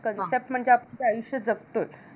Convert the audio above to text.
Concept म्हणजे आपण ते आयुष्य जगतोच.